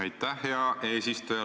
Aitäh, hea eesistuja!